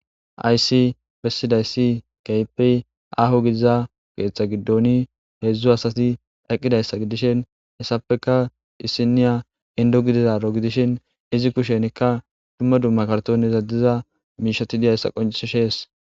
Hayssi bessidayssi kehippe aho gididaza keththa giddon heezhzhu asati eqqidayssa giddishin hesatappeka isiniya indo gidizaro gidishin izi kushshenika dumma dumma kartonera diiza mishshati dizaysss qonccises.